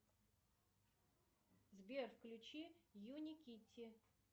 сбер включи юни китти